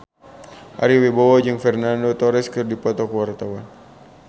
Ari Wibowo jeung Fernando Torres keur dipoto ku wartawan